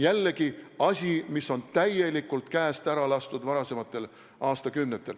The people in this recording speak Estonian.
Jällegi asi, mis on varasematel aastakümnetel täielikult käest ära lastud.